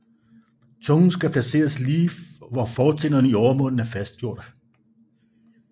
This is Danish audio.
Tungen skal placeres lige hvor fortænderne i overmunden er fastgjordte